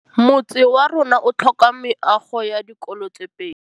Motse warona o tlhoka meago ya dikolô tse pedi.